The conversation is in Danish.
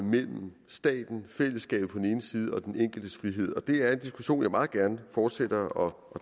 mellem staten fællesskabet på den ene side og den enkeltes frihed og det er en diskussion jeg meget gerne fortsætter og